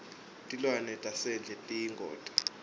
tilwane tasendle tiyingoti